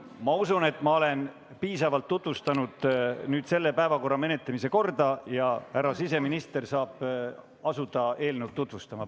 Ma usun, et ma olen piisavalt tutvustanud päevakorrapunkti menetlemise korda ja härra siseminister saab asuda eelnõu tutvustama.